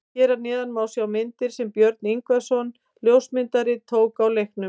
Hér að neðan má sjá myndir sem Björn Ingvarsson ljósmyndari tók á leiknum.